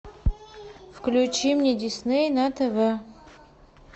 включи мне дисней на тв